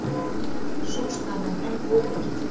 Sú staða er enn óbreytt.